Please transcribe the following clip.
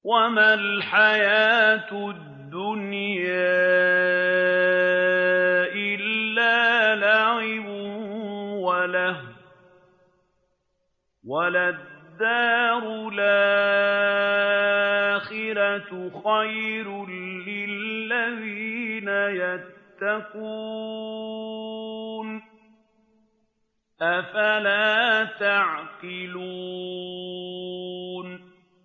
وَمَا الْحَيَاةُ الدُّنْيَا إِلَّا لَعِبٌ وَلَهْوٌ ۖ وَلَلدَّارُ الْآخِرَةُ خَيْرٌ لِّلَّذِينَ يَتَّقُونَ ۗ أَفَلَا تَعْقِلُونَ